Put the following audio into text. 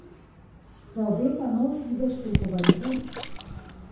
Se obeta nov čudež pri Kobaridu?